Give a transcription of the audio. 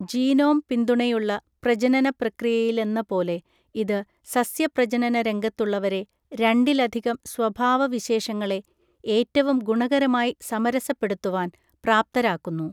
Genome പിന്തുണയുള്ള പ്രജനന പ്രക്രിയയിലെന്നപോലെ, ഇത് സസ്യപ്രജനന രംഗത്തുള്ളവരെ, രണ്ടിലധികം സ്വഭാവ വിശേഷങ്ങളെ ഏറ്റവും ഗുണകരമായി സമരസപ്പെടുത്തുവാൻ പ്രാപ്‌തരാക്കുന്നു.